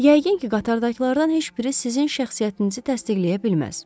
Yəqin ki, qatardakılardan heç biri sizin şəxsiyyətinizi təsdiqləyə bilməz.